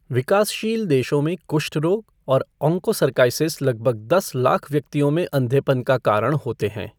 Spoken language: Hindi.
विकासशील देशों में कुष्ठ रोग और ऑङ्कोसर्काइसिस लगभग दस लाख व्यक्तियों में अंधेपन का कारण होते हैं।